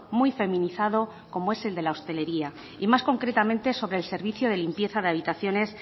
muy feminizado como es el de la hostelería y más concretamente sobre el servicio de limpieza de habitaciones